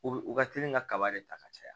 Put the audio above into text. U bɛ u ka teli ka kaba de ta ka caya